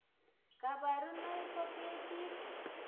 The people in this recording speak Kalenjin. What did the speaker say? Kaparunoik kopee piik